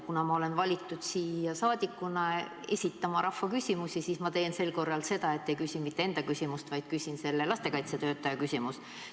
Kuna ma olen valitud siia rahvasaadikuna esitama rahva küsimusi, siis ma teen sel korral nii, et ei küsi mitte enda küsimust, vaid küsin selle lastekaitsetöötaja küsimuse.